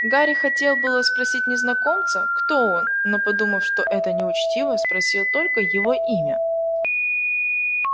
гарри хотел было спросить незнакомца кто он но подумав что это неучтиво спросил только его имя